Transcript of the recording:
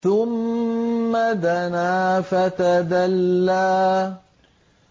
ثُمَّ دَنَا فَتَدَلَّىٰ